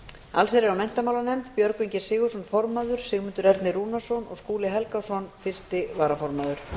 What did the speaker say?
allsherjar og menntamálanefnd björgvin g sigurðsson formaður sigmundur ernir rúnarsson og skúli helgason fyrsti varaformaður